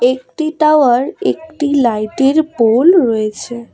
একটি টাওয়ার একটি লাইটের পোল রয়েছে।